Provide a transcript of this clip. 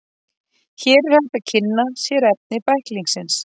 Hér er hægt að kynna sér efni bæklingsins.